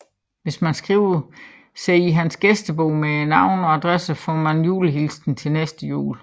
Hvis man skriver sig i hans gæstebog med navn og adresse får man en julehilsen til næste jul